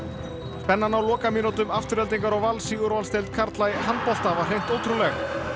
spennan á lokamínútum Aftureldingar og Vals í úrvalsdeild karla í handbolta var hreint ótrúleg